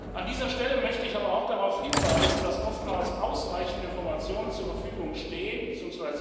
An dieser Stelle möchte ich aber auch darauf hinweisen, dass oftmals ausreichende Informationen zur Verfügung stehen bzw.